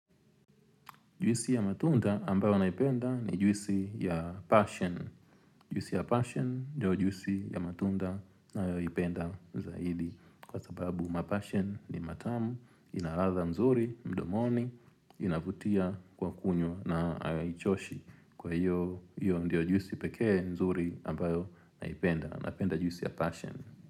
Jwisi ya matunda ambayo naipenda ni jwisi ya passion. Jwisi ya passion ndiyo jwisi ya matunda nayoipenda zaidi. Kwa sababu mapashen ni matamu, inalatha mzuri, mdomoni, inavutia kwa kunywa na haichoshi. Kwa hiyo, hiyo ndiyo jwisi pekee mzuri ambayo naipenda. Napenda jwisi ya passion.